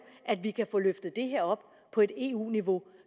at vi kan få løftet det her op på et eu niveau